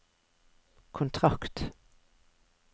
kontrakt